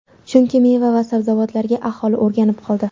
Chunki meva va sabzavotlarga aholi o‘rganib qoldi.